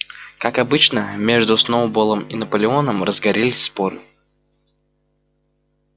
как обычно между сноуболлом и наполеоном разгорелись споры